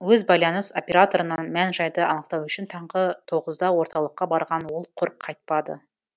өз байланыс операторынан мән жайды анықтау үшін таңғы тоғызда орталыққа барған ол құр қайтпады